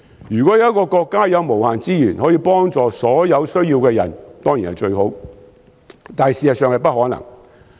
如果有一個國家有無限資源，可以幫助所有有需要的人當然最好，但現實上是不可能。